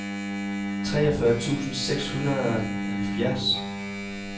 treogfyrre tusind seks hundrede og halvfjerds